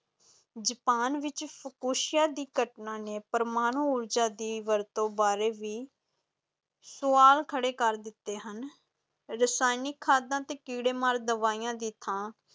Japan ਵਿੱਚ ਫਿਕੋਸ਼ੀਆ ਦੀ ਘਟਨਾ ਨੇ ਪ੍ਰਮਾਣੂ ਊਰਜਾ ਦੀ ਵਰਤੋਂ ਬਾਰੇ ਵੀ ਸੁਆਲ ਖੜੇ ਕਰ ਦਿੱਤੇ ਹਨ, ਰਸਾਇਣਿਕ ਖਾਦਾਂ ਤੇ ਕੀੜੇ ਮਾਰ ਦਵਾਈਆਂ ਦੀ ਥਾਂ